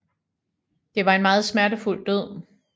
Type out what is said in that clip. Det var en meget smertefuld død